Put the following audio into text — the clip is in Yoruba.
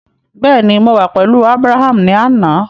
Bẹẹni, Mo wa pẹlu Abraham ni ana